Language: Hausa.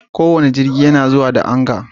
Kowane jirgi yana zuwa da Anga